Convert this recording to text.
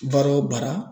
Baara o baara